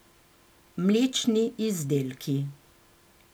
Mlečni izdelki.